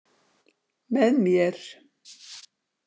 Með mér.